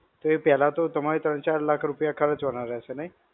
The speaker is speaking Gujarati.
તો એ પેહલા તો તમારે ત્રણ-ચાર લાખ રૂપિયા ખરચવાના રહેશે નહિ?